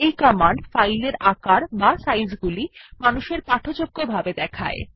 এই কমান্ড স্থানগুলি মানুষের পাঠযোগ্য বিন্যাসেও দেখায়